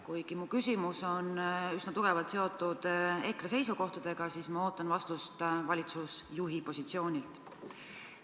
Kuigi mu küsimus on üsna tugevalt seotud EKRE seisukohtadega, ootan ma vastust valitsusjuhi positsioonilt.